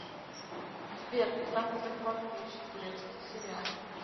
сбер самые захватываюшие турецкие сериалы